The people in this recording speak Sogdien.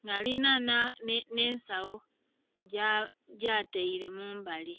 nga alinha nhe ensagho gyataire mumbali.